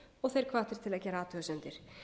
og þeir hvattir til að gera athugasemdir